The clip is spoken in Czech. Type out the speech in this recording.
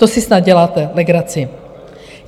To si snad děláte legraci.